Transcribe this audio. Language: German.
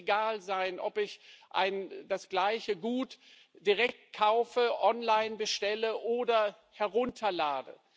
Es muss egal sein, ob ich das gleiche Gut direkt kaufe, online bestelle oder herunterlade.